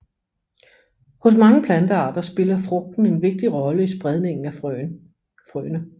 Hos mange plantearter spiller frugten en vigtig rolle i spredningen af frøene